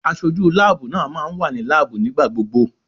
Aṣojú láàbù náà máa wà ní láàbù nígbà gbogbo.